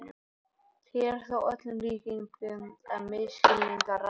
Hér er þó að öllum líkindum um misskilning að ræða.